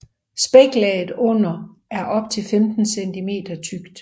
Spæklaget under er op til 15 cm tykt